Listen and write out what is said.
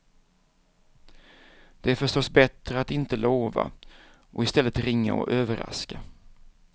Det är förstås bättre att inte lova, och istället ringa och överraska.